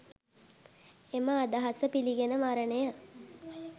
එම අදහස පිළිගෙන මරණය